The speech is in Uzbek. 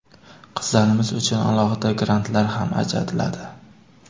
Qizlarimiz uchun alohida grantlar ham ajratiladi.